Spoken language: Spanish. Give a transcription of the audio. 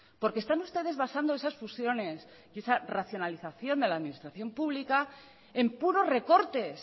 porque están ustedes basando esas fusiones y esa racionalización de la administración pública en puros recortes